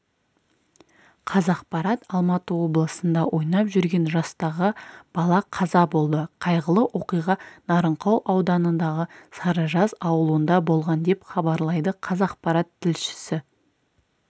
қазақпарат алматы облысында ойнап жүрген жастағы бала қаза болды қайғылы оқиға нарынқол ауданындағы сарыжаз ауылында болған деп хабарлайды қазақпарат тілшісі